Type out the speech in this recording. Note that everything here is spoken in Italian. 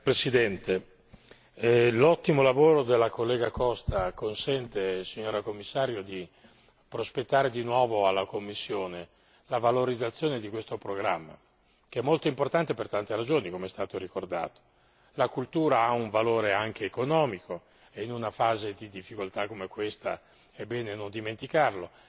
Signor Presidente, signora Commissario, l'ottimo lavoro della collega Costa consente di prospettare di nuovo alla Commissione la valorizzazione di questo programma, che è molto importante per tante ragioni, com'è stato ricordato. La cultura ha un valore anche economico e in una fase di difficoltà come questa è bene non dimenticarlo.